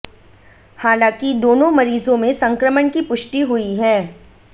हालांकि दोनों मरीजों में संक्रमण की पुष्टि हुई है